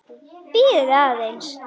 Bíðið aðeins!